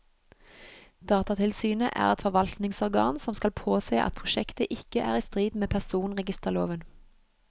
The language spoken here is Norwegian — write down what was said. Datatilsynet er et forvaltningsorgan som skal påse at prosjektet ikke er i strid med personregisterloven.